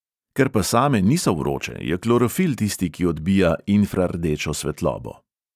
Ker pa same niso vroče, je klorofil tisti, ki odbija infrardečo svetlobo.